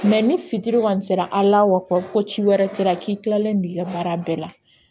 ni fitiri kɔni sera a la wa ko ci wɛrɛ kɛra k'i kilalen don i ka baara bɛɛ la